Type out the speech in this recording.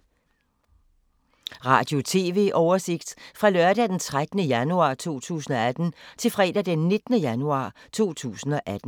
Radio/TV oversigt fra lørdag d. 13. januar 2018 til fredag d. 19. januar 2018